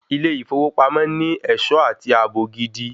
Ilé ìfowópamọ́ ní ẹ̀ṣọ́ àti ààbò gidi.